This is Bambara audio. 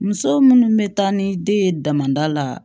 Muso minnu bɛ taa ni den ye damada la